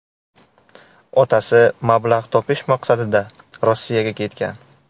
Otasi mablag‘ topish maqsadida Rossiyaga ketgan.